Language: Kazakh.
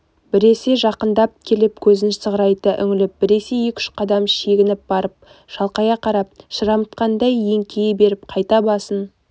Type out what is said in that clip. біресе жақындап келіп көзін сығырайта үңіліп біресе екі-үш қадам шегініп барып шалқая қарап шырамытқандай еңкейе беріп қайта басын